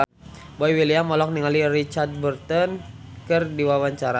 Boy William olohok ningali Richard Burton keur diwawancara